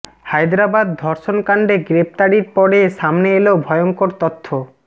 হায়দরাবাদ ধর্ষণ কাণ্ডে গ্রেফতারির পরে সামনে এল ভয়ঙ্কর তথ্য